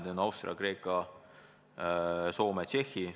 Need on Austria, Kreeka, Soome ja Tšehhi.